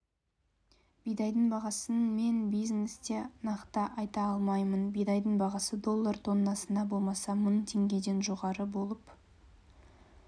бидайдың бағасын мен бизнесте нақты айта алмаймын бидайдың бағасы доллар тоннасына болмаса мың теңгеден жоғары болып